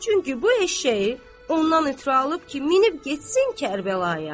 Çünki bu eşşəyi ondan ötrü alıb ki, minib getsin Kərbəlaya.